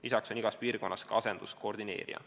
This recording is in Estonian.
Lisaks on igas piirkonnas ka asenduskoordineerija.